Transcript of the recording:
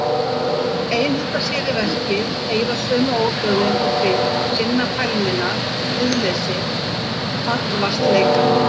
Einhenda sér í verkið, heyra sömu óhljóðin og fyrr, finna fælnina, friðleysið, fallvaltleikann.